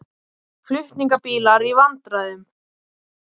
Flutningabílar í vandræðum